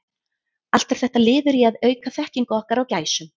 Allt er þetta liður í að auka þekkingu okkar á gæsum.